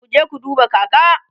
kuje ku duba kaka!